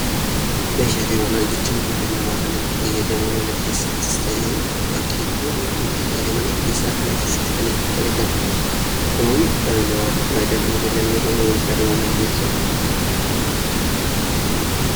Meeshaalee manaa jechuun meeshaalee dhalli namaa mana keessatti itti fayyadamu jechuudha. Dhala namaatiifis faayidaa kan kennanidha.